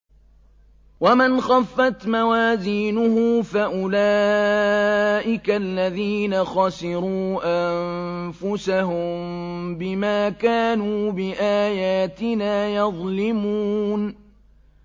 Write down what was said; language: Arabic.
وَمَنْ خَفَّتْ مَوَازِينُهُ فَأُولَٰئِكَ الَّذِينَ خَسِرُوا أَنفُسَهُم بِمَا كَانُوا بِآيَاتِنَا يَظْلِمُونَ